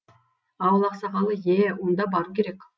ауыл ақсақалы е онда бару керек